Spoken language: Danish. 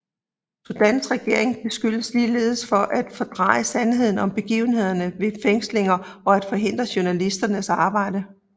Sudans regering beskyldes ligeledes for at fordreje sandheden om begivenhederne ved fængslinger og at forhindre journalisters arbejde